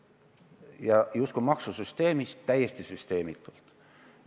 Ta räägib justkui ka maksusüsteemist, aga täiesti süsteemitult.